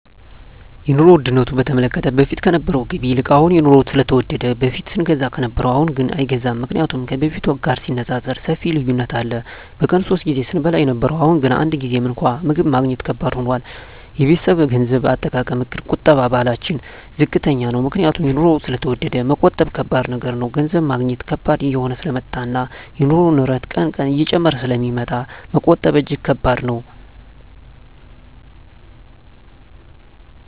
የኑሮ ዉድነቱ በተመለከተ በፊት ከነበረዉ ገቢ ይልቅ አሁን የኑሮዉ ስለተወደደ በፊት ስንገዛ ከነበረ አሁንግን አይገዛም ምክንያቱም ከበፊቱ ጋር ሲነፃፀር ሰፊ ልዩነት አለ በቀን ሶስት ጊዜ ስንበላ የነበረዉ አሁን ግን አንድ ጊዜም እንኳን ምግብ ማግኘት ከባድ ሆኗል የቤተሰቤ የገንዘብ አጠቃቀምእቅድ የቁጠባ ባህላችን ዝቅተኛ ነዉ ምክንያቱም ኑሮዉ ስለተወደደ መቆጠብ ከባድ ነገር ነዉ ገንዘብ ማግኘት ከባድ እየሆነ ስለመጣእና የኑሮዉ ንረት ቀን ቀን እየጨመረ ስለሚመጣ መቆጠብ እጂግ ከባድ ነዉ